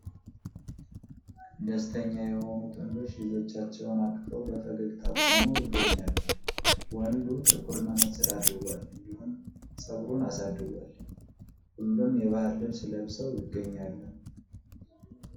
ደስተኛ የሆኑ ጥንዶች ልጆቻቸውን አቅፋው በፈገግታ ቆመው ይገኛሉ ። ወንዱ ጥቁር መነፀር አድርጓል እንዲሁም ጸጉሩን አሳድጓል ።ሁሉም የባህል ልብስ ለብሰው ይገኛሉ።